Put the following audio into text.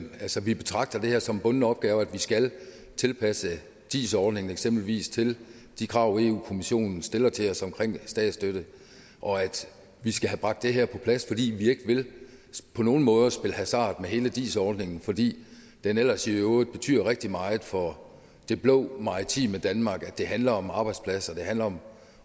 vi betragter det her som en bunden opgave nemlig at vi skal tilpasse dis ordningen eksempelvis til de krav europa kommissionen stiller til os omkring statsstøtte og at vi skal have bragt det her på plads fordi vi ikke på nogen måde vil spille hasard med hele dis ordningen fordi den ellers i øvrigt betyder rigtig meget for det blå maritime danmark det handler om arbejdspladser det handler om